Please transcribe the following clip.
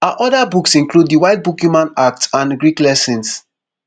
her oda books include the white book human acts and greek lessons